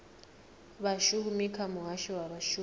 vhashumi kha muhasho wa vhashumi